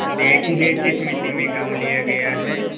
देखिए जिस मिती में गॉँव लिया गया है